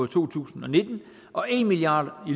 to tusind og nitten og en milliard